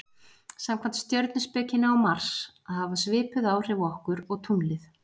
samkvæmt stjörnuspekinni á mars að hafa svipuð áhrif okkur og tunglið